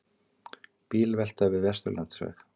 Bílvelta við Vesturlandsveg